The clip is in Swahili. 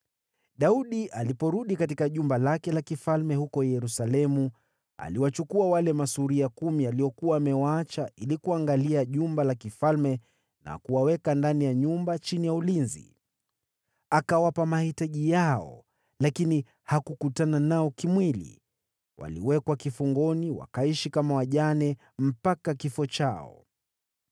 Daudi aliporudi katika jumba lake la kifalme huko Yerusalemu, aliwachukua wale masuria kumi aliokuwa amewaacha ili kuangalia jumba la kifalme na kuwaweka ndani ya nyumba chini ya ulinzi. Akawapa mahitaji yao lakini hakukutana nao kimwili. Waliwekwa kifungoni wakaishi kama wajane mpaka kifo chao.